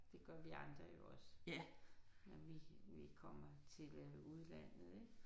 Det gør vi andre jo også. Når vi vi kommer til udlandet ik